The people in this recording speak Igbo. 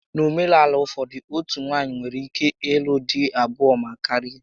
N'omenaala ụfọdụ, otú nwaanyị nwere ike ịlụ dị abụo ma karịa